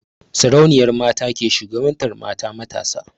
Sarauniyar mata ke shugabantar mata matasa.